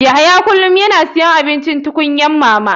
Yahya kullum yana siyan abincin tukunyar mamas.